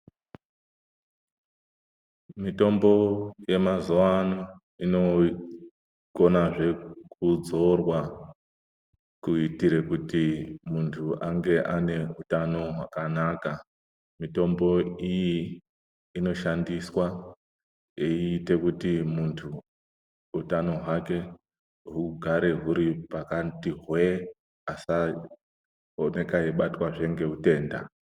Mitombo yemazuvaano inokona zvekudzorwa kuitire kuti muntu ange ane hutano hwakanaka. Mitombo iyi inoshandiswa eyiita kuti muntu hutano hwake hugare huri pakati hwee, asakoneka eyibatwa ngehutenda.